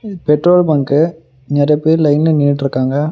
Petrol bunk நெறையா பேர் லைன்ல நின்னுட்ருக்காங்க.